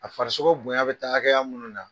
A faraso bonya bɛ taa hakɛya munu na